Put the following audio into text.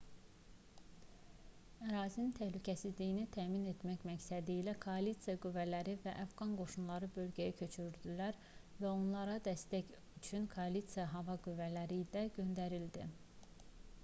ərazinin təhlükəsizliyini təmin etmək məqsədilə koalisiya qüvvələri və əfqan qoşunları bölgəyə köçürüldülər və onlara dəstək üçün koalisiya hava qüvvələri də göndərildi